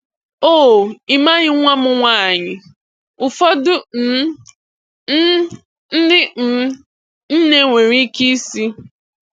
"Oh, ị maghị nwa m nwanyị," ụfọdụ um um ndị um nne nwere ike ịsị.